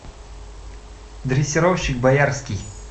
дрессировщик боярский